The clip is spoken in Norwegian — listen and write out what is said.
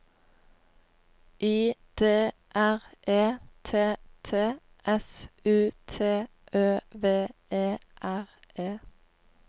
I D R E T T S U T Ø V E R E